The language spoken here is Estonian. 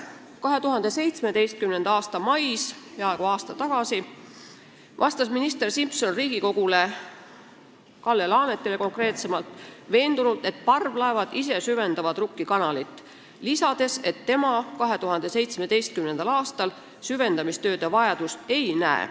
2017. aasta mais, peaaegu aasta tagasi, vastas minister Simson Riigikogule, konkreetsemalt Kalle Laanetile veendunult, et parvlaevad ise süvendavad Rukki kanalit ja tema 2017. aastal süvendamistööde vajadust ei näe.